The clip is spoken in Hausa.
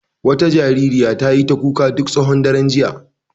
Wata jaririya ta yi ta kuka duk tsawon daren jiya.